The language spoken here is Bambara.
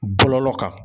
Bɔlɔlɔ kan